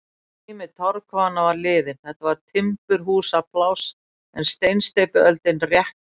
Tími torfkofanna var liðinn, þetta var timburhúsapláss en steinsteypuöldin rétt að hefjast.